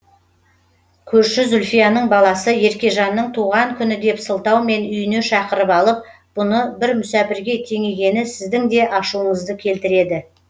көршісі зульфияның баласы еркежанның туған күні деп сылтаумен үйіне шақырып алып бұны бір мүсәпірге теңегені сіздін де ашуыңызды келтіреді